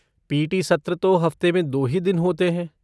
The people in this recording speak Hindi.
पी.टी. सत्र तो हफ़्ते में दो ही दिन होते हैं।